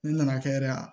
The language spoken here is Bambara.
Ne nana kɛ yɛrɛ